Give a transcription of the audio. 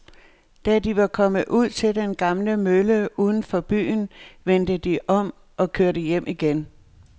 Da de var kommet ud til den gamle mølle uden for byen, vendte de om og kørte hjem igen.